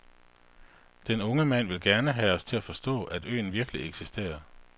Den unge mand ville gerne have os til at forstå, at øen virkelig eksisterer.